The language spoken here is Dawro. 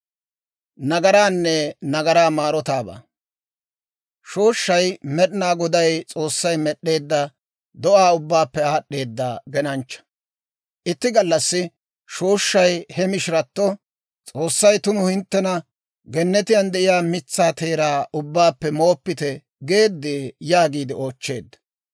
Shooshshay Med'inaa Goday S'oossay med'd'eedda do'aa ubbaappe aad'd'eedda genanchcha. Itti gallassi shooshshay he mishiratto, «S'oossay tumu hinttentta, ‹Gennetiyaan de'iyaa mitsaa teeraa ubbaappe mooppite› geeddee?» yaagiide oochcheedda.